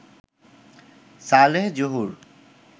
Saleh Zahur